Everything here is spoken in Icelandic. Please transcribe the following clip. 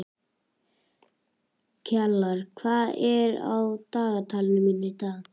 Kjalar, hvað er á dagatalinu mínu í dag?